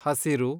ಹಸಿರು